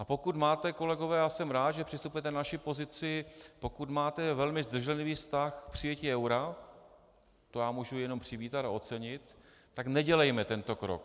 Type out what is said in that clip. A pokud máte, kolegové, a jsem rád, že přistupujete na naši pozici, pokud máte velmi zdrženlivý vztah k přijetí eura, to já můžu jenom přivítat a ocenit, tak nedělejme tento krok.